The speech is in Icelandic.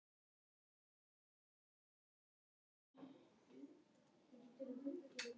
Að grafa sína eigin gröf